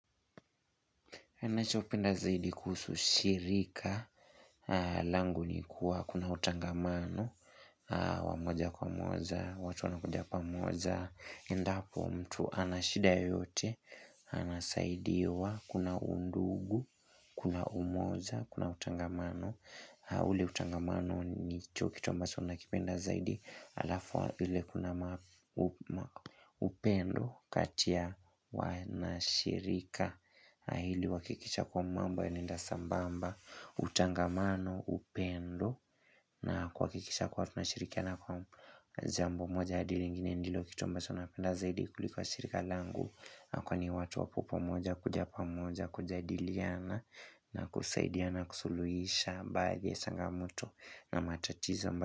Anachopenda zaidi kuhusu shirika. Langu ni kuwa kuna utangamano wa moja kwa moja, watu wanakuja pamoja. Endapo mtu anashida yoyote, anasaidiwa, kuna undugu, kuna umoja, kuna utangamano. Ule utangamano nicho kitu ambacho nakipenda zaidi halafu ile kuna upendo kati ya wanashirika. Hili huakikisha kwamba mambo yanaenda sambamba Utangamano upendo na kuhakikisha kuwa tunashirikiana kwa jambo moja hadi lingini ndilo kitu ambacho nakipenda zaidi kuliko shirika langu Kwani watu wapo pamoja kuja pamoja kujadiliana na kusaidiana kusuluisha baadhi ya changamoto na matatizo.